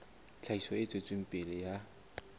tlhahiso e tswetseng pele ya